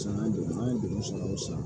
San jɔ an ye degero sara o san